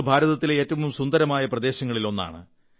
ഇത് ഭാരതത്തിലെ ഏറ്റവും സുന്ദരമായ പ്രദേശങ്ങളിലൊന്നാണ്